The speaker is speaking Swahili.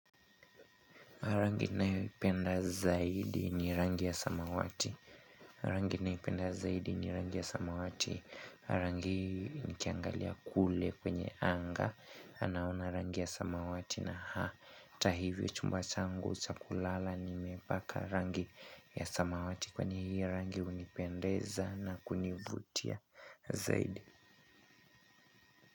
Rangi nayoipenda zaidi ni rangi ya samawati, rangi naipenda zaidi ni rangi ya samawati, rangi hii nikiangalia kule kwenye anga, anaona rangi ya samawati na hata hivyo chumba changu cha kulala nimepaka rangi ya samawati kwan hiyo rangi hunipendeza na kunivutia zaidi.